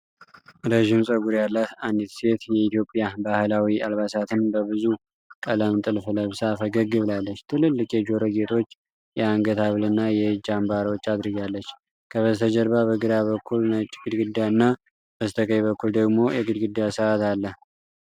ረዥም ፀጉር ያላት አንዲት ሴት የኢትዮጵያ ባህላዊ አልባሳትን በብዙ ቀለም ጥልፍ ለብሳ ፈገግ ብላለች። ትልልቅ የጆሮ ጌጦች፣ የአንገት ሐብልና የእጅ አምባሮች አድርጋለች። ከበስተጀርባ በግራ በኩል ነጭ ግድግዳና በስተቀኝ በኩል ደግሞ የግድግዳ ሰዓት አለ።